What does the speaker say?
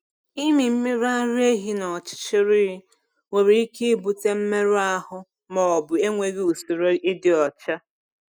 Ịmị mmiri ara ehi n’ọchịchịrị nwere ike ibute mmerụ ahụ ma ọ bụ enweghị usoro ịdị ọcha.